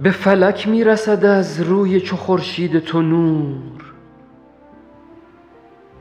به فلک می رسد از روی چو خورشید تو نور